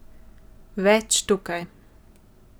Več tukaj.